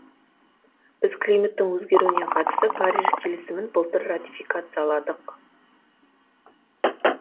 біз климаттың өзгеруіне қатысты париж келісімін былтыр ратификацияладық